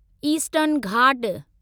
eastern Ghat